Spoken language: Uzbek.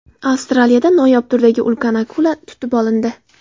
Avstraliyada noyob turdagi ulkan akula tutib olindi .